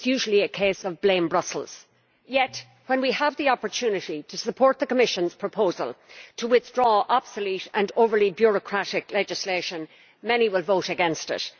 It is usually a case of blaming Brussels. Yet, when we have the opportunity to support the Commission's proposal to withdraw obsolete and overly bureaucratic legislation, many will vote against it.